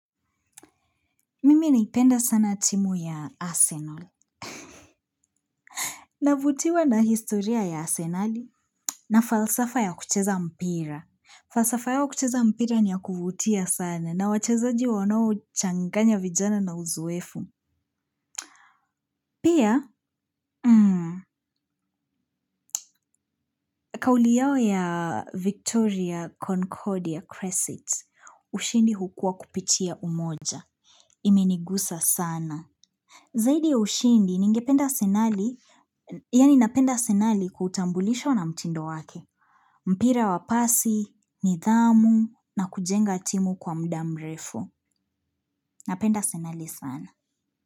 Mimi naipenda sana timu ya Arsenal. Navutiwa na historia ya Asenali. Na falsafa ya kucheza mpira. Falsafa yao ya kucheza mpira ni ya kuvutia sana na wachezaji wanao changanya vijana na uzoefu. Pia. Kauli yao ya Victoria Concordia Cresset. Ushindi hukua kupitia umoja. Imeniguza sana. Zaidi ya ushindi ningependa asenali yani napenda asenali kutambulishwa na mtindo wake, mpira wa pasi, nidhamu na kujenga timu kwa muda mrefu. Napenda senali sana.